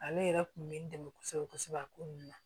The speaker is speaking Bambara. Ale yɛrɛ kun bɛ n dɛmɛ kosɛbɛ kosɛbɛ a ko nun na